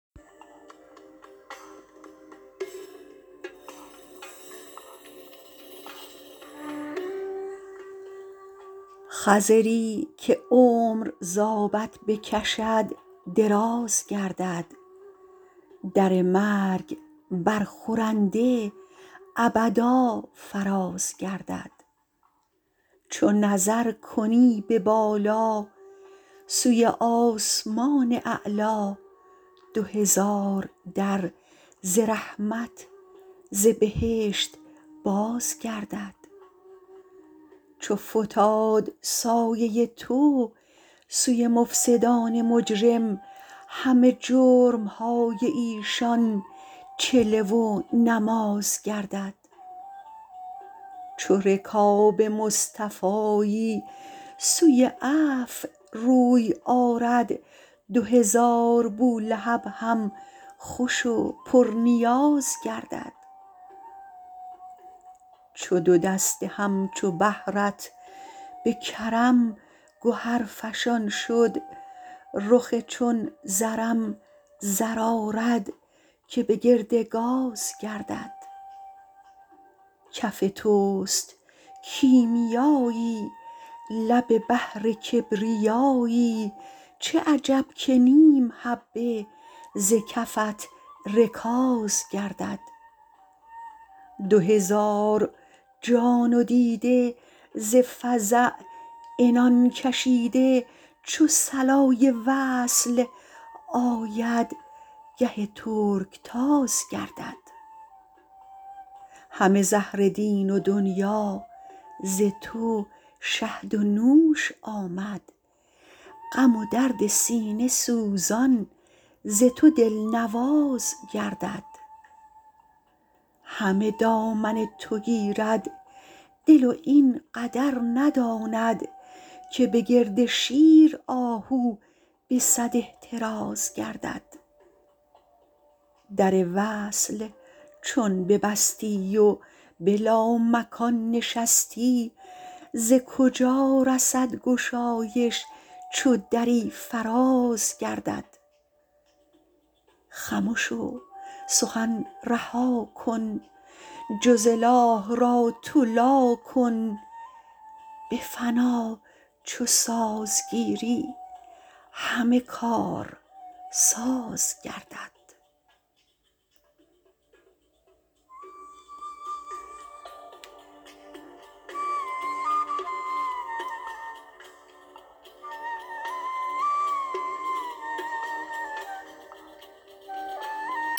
خضری که عمر ز آبت بکشد دراز گردد در مرگ برخورنده ابدا فراز گردد چو نظر کنی به بالا سوی آسمان اعلا دو هزار در ز رحمت ز بهشت باز گردد چو فتاد سایه تو سوی مفسد ان مجرم همه جرم های ایشان چله و نماز گردد چو رکاب مصطفایی سوی عفو روی آرد دو هزار بولهب هم خوش و پرنیاز گردد چو دو دست همچو بحر ت به کرم گهرفشان شد رخ چون زرم زر آرد که به گرد گاز گردد کف توست کیمیا یی لب بحر کبریا یی چه عجب که نیم حبه ز کفت رکاز گردد دو هزار جان و دیده ز فزع عنان کشیده چو صلای وصل آید گه ترکتاز گردد همه زهر دین و دنیا ز تو شهد و نوش آمد غم و درد سینه سوزان ز تو دلنواز گردد همه دامن تو گیرد دل و این قدر نداند که به گرد شیر آهو به صد احتراز گردد در وصل چون ببستی و به لامکان نشستی ز کجا رسد گشایش چو دری فراز گردد خمش و سخن رها کن جز اله را تو لا کن به فنا چو ساز گیری همه کارساز گردد